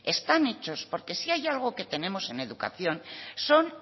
están hechos porque si hay algo que tenemos en educación son